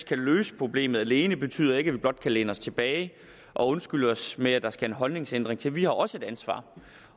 kan løse problemet alene betyder ikke at vi blot kan læne os tilbage og undskylde os med at der skal en holdningsændring til vi har også et ansvar